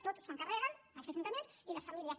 tot s’ho carreguen els ajuntaments i les famílies